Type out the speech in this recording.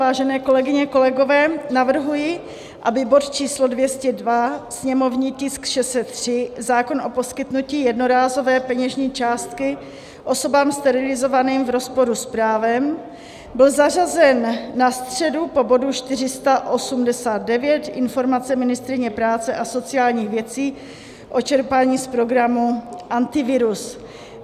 Vážené kolegyně, kolegové, navrhuji, aby bod číslo 202, sněmovní tisk 603, zákon o poskytnutí jednorázové peněžní částky osobám sterilizovaným v rozporu s právem, byl zařazen na středu po bodu 489, Informace ministryně práce a sociálních věcí o čerpání z programu Antivirus.